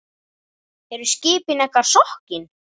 Eru skipin ykkar sokkin?